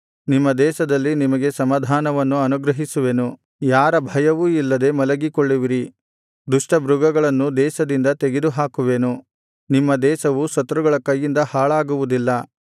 ನಿಮ್ಮ ದೇಶದಲ್ಲಿ ನಿಮಗೆ ಸಮಾಧಾನವನ್ನು ಅನುಗ್ರಹಿಸುವೆನು ಯಾರ ಭಯವೂ ಇಲ್ಲದೆ ಮಲಗಿಕೊಳ್ಳುವಿರಿ ದುಷ್ಟಮೃಗಗಳನ್ನು ದೇಶದಿಂದ ತೆಗೆದುಹಾಕುವೆನು ನಿಮ್ಮ ದೇಶವು ಶತ್ರುಗಳ ಕತ್ತಿಯಿಂದ ಹಾಳಾಗುವುದಿಲ್ಲ